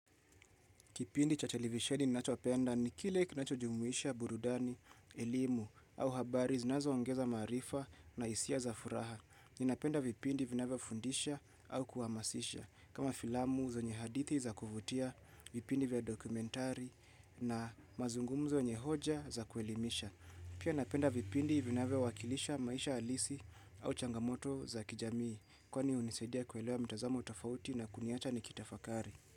Kipindi cha cha televisheni ninachopenda ni kile kinachojumuisha burudani, elimu au habari zinazoongeza maarifa na hisia za furaha. Ninapenda vipindi vinavyofundisha au kuhamazisha. Kama filamu zenye hadithi za kuvutia, vipindi vya documentari na mazungumzo yenye hoja za kuelimisha. Pia napenda vipindi vinawea wakilisha maisha alisi au changamoto za kijamii. Kwani hunisadia kuelewa mitazamo tofauti na kuniacha nikitafakari.